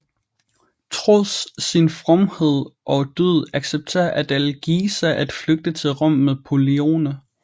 Trods sin fromhed og dyd accepterer Adalgisa at flygte til Rom med Pollione